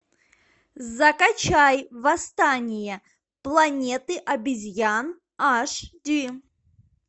закачай восстание планеты обезьян аш ди